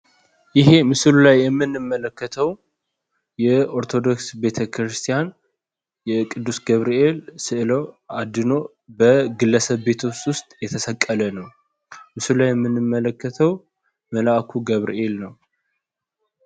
ይሄ ምስሉ ላይ የምንመለከተው የኦርቶዶክስ ቤተክርስቲያን የቅዱስ ገብርኤል ስዕል አድኅኖ በግለሰብ ቤቶች ውስጥ የተሰቀለ ነው። በምስሉ የምንመለከተው መልአኩ ገብርኤል ነው።